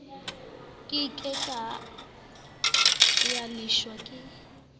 ke ke ya leshwa ke